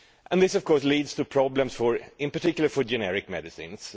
This of course leads to problems, in particular for generic medicines.